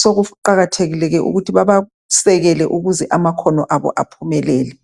so kuqakathekileke ukuthi babasekele ukuze amakhono abo baphumelele .